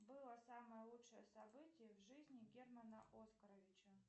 было самое лучшее событие в жизни германа оскаровича